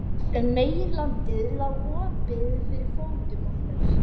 Meginlandið lá opið fyrir fótum okkar.